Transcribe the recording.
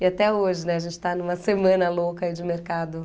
E até hoje, a gente está numa semana louca de mercado.